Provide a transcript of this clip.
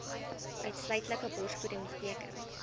uitsluitlike borsvoeding beteken